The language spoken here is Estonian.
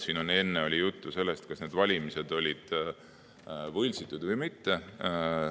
Siin enne oli juttu, kas need valimised olid võltsitud või mitte.